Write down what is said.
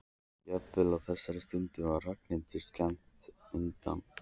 Jafnvel á þessari stundu var Ragnhildur skammt undan.